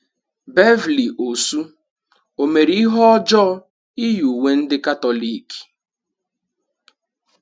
Beverly Osu, o mere ihe ọjọọ iyi uwe ndị Katọlik?